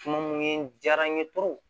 Tuma mun ye n diyara n ye